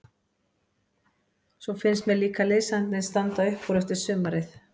Svo finnst mér líka liðsandinn standa upp úr eftir sumarið.